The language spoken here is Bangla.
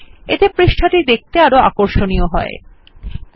এতে পৃষ্ঠাটি দেখতে আরো আকর্ষনীয় লাগে